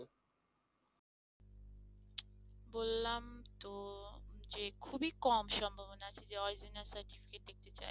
বললাম তো যে খুবই কম সম্ভাবনা আছে যে original certificate দেখতে চাই।